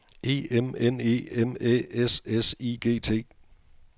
E M N E M Æ S S I G T